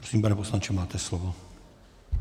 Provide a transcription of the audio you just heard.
Prosím, pane poslanče, máte slovo.